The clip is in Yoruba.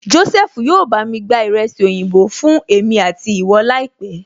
Jósẹ́fù yóò bá mi gba ìrẹsì oyinbo fún èmi àti ìwọ láìpẹ́